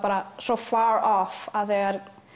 svo far off að þegar